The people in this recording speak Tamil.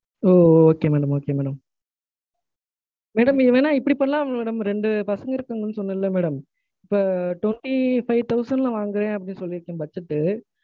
ஒ, Okay madam. okay madam. madam. இது வேணா இப்டி பண்லாம்ல madam? ரெண்டு பசங்க இருக்காங்கன்னு சொன்னேன்ல madam. இப்போ twenty five thousand ல வாங்குறேன் அப்படின்னு சொல்லிருக்கேன் budget ட்டு,